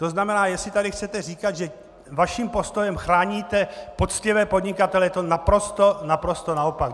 To znamená, jestli tady chcete říkat, že vaším postojem chráníte poctivé podnikatele, je to naprosto naopak.